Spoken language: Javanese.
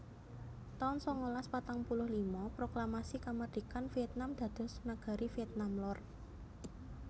taun sangalas patang puluh lima Proklamasi kamardikan Vietnam dados negari Vietnam Lor